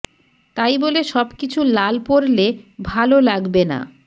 তাই বলে সবকিছু লাল পরলে ভালো লাগবে না